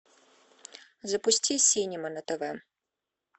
запусти синема на тв